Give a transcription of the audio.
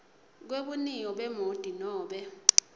kwebuniyo bemoti nobe